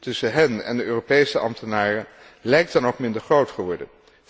tussen hen en de Europese ambtenaren lijkt dan ook minder groot geworden.